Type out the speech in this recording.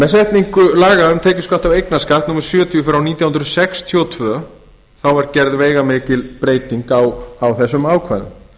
með setningu laga um tekjuskatt og eignarskatt númer sjötíu frá nítján hundruð sextíu og tvö er gerð veigamikil breyting á þessum ákvæðum